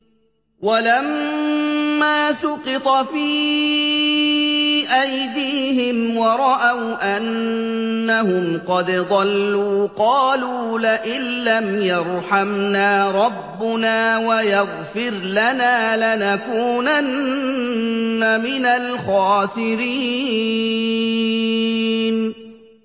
وَلَمَّا سُقِطَ فِي أَيْدِيهِمْ وَرَأَوْا أَنَّهُمْ قَدْ ضَلُّوا قَالُوا لَئِن لَّمْ يَرْحَمْنَا رَبُّنَا وَيَغْفِرْ لَنَا لَنَكُونَنَّ مِنَ الْخَاسِرِينَ